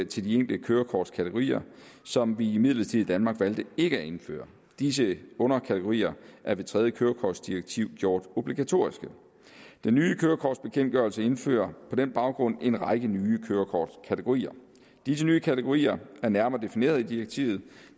til de enkelte kørekortkategorier som vi imidlertid i danmark valgte ikke at indføre disse underkategorier er ved tredje kørekortdirektiv gjort obligatoriske den nye kørekortbekendtgørelse indfører på den baggrund en række nye kørekortkategorier disse nye kategorier er nærmere defineret i direktivet